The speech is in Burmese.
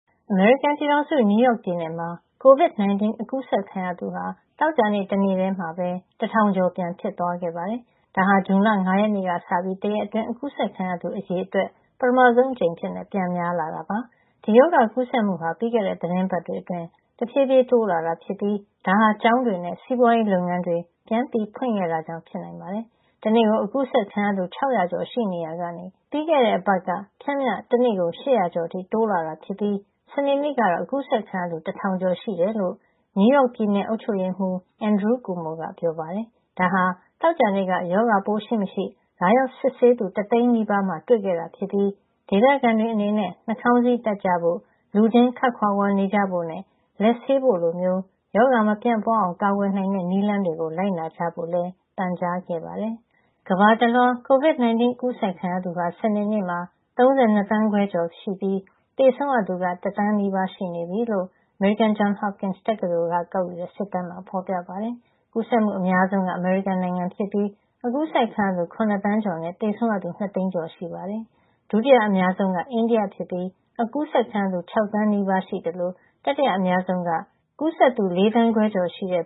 အမေရိကန်ပြည်ထောင်စုက နယူးယောက်ပြည်နယ်မှာ COVID-19 ကူးစက်ခံရသူဟာ သောကြာနေ့တနေ့တည်းမှာပဲ ၁,၀၀၀ ကျော် ပြန်ဖြစ်သွားခဲ့ပါတယ်။ ဒါဟာ ဇွန်လ ၅ ရက်နေ့ကစပြီး တရက်အတွင်း ကူးစက်ခံရသူ အရေအတွက် ပထမဆုံးအကြိမ် ပြန်များလာတာ ဖြစ်ပါတယ်။ ဒီရောဂါကူးစက်မှုဟာ ပြီးခဲ့တဲ့ သီတင်းပတ်တွေအတွင်း တဖြည်းဖြည်း တိုးလာတာဖြစ်ပြီး ဒါဟာ ကျောင်းတွေနဲ့ စီးပွားရေးလုပ်ငန်းတွေ ပြန်ဖွင့်ခဲ့တာကြောင့် ဖြစ်နိုင်ပါတယ်။ တနေ့ကို ကူးစက်ခံရသူ ၆၀၀ ကျော်ရှိနေရာကနေ ပြီးခဲ့တဲ့အပတ်က ပျမ်းမျှ တနေ့ကို ၈၀၀ ကျော်အထိ တိုးလာတာဖြစ်ပြီး စနေနေ့ကတော့ ကူးစက်ခံရသူ ၁,၀၀၀ ကျော်ရှိကြောင်း နယူးယောက်ပြည်နယ် အုပ်ချုပ်ရေးမှူး Andrew Cuomo က ပြောပါတယ်။ ဒါဟာ သောကြာနေ့က ရောဂါပိုးရှိမရှိ လာရောက်စစ်ဆေးသူ တသိန်းနီးပါးမှာ တွေ့ခဲ့တာဖြစ်ပြီး ဒေသခံတွေအနေနဲ့ နှာခေါင်းစည်းတပ်ကြဖို့၊ လူချင်းခပ်ခွာခွာနေကြဖို့နဲ့ လက်ဆေးဖို့လိုမျိုး ရောဂါမပြန့်ပွားအောင် ကာကွယ်နိုင်တဲ့ နည်းလမ်းတွေကို လိုက်နာကြဖို့လည်း ပန်ကြားခဲ့ပါတယ်။ ကမ္ဘာတလွှား COVID-19 ကူးစက်ခံရသူဟာ စနေနေ့မှာ ၃၂ သန်းခွဲကျော် ရှိနေပြီး သေဆုံးရသူက တသန်းနီးပါး ရှိနေပြီလို့ အမေရိကန် Johns Hopkins တက္ကသိုလ်က ကောက်ယူတဲ့ စစ်တမ်းမှာ ဖော်ပြထားပါတယ်။ ကူးစက်မှု အများဆုံးက အမေရိကန်နိုင်ငံဖြစ်ပြီး ကူးစက်ခံရသူ ၇ သန်းကျော်နဲ့ သေဆုံးရသူက ၂ သိန်းကျော် ရှိနေပါတယ်။ ကူးစက်မှု ဒုတိယအများဆုံးက အိန္ဒိယ ဖြစ်ပြီး ကူးစက်ခံရသူ ၆ သန်းနီးပါး ရှိသလို တတိယအများဆုံးက ကူးစက်သူ ၄ သန်းခွဲကျော်ရှိတဲ့